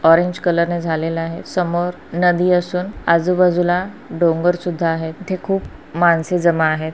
Orange colour नी झालेल आहे समोर नदी असून आजूबाजूला डोंगरसुद्धा आहेत इथे खूप माणसे जमा आहेत.